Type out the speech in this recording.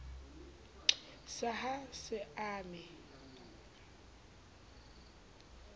sa a ha se ame